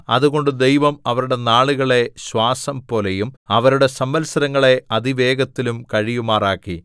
അതുകൊണ്ട് ദൈവം അവരുടെ നാളുകളെ ശ്വാസം പോലെയും അവരുടെ സംവത്സരങ്ങളെ അതിവേഗത്തിലും കഴിയുമാറാക്കി